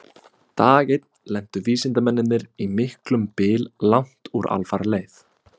Dag einn lentu vísindamennirnir í miklum byl langt úr alfaraleið.